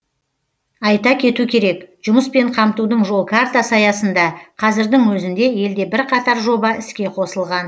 айта кету керек жұмыспен қамтудың жол картасы аясында қазірдің өзінде елде бірқатар жоба іске қосылған